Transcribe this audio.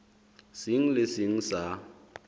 seng le se seng sa